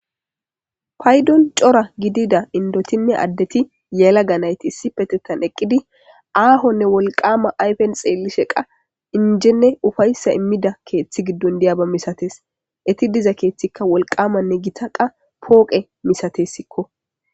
paydon cora gidida indotinne addeti yeela ganayti issi petettan eqqidi aahonne wolqama ayfen xeelli sheqa injenne ufayssa immida keeththi giddon diyaba misates eti diza keeththikka wolqamanne gitaqa pooqe misatessikko